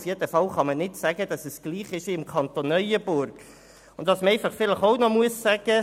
Auf jeden Fall kann man nicht behaupten, im Kanton Bern sei es gleich wie im Kanton Neuenburg.